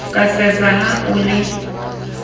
ka sesa ha o le